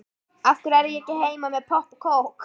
Af hverju er ég ekki heima með popp og kók?